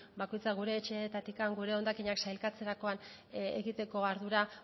bakoitzak gure etxeetatik gure hondakinak sailkatzerakoan egiteko ardura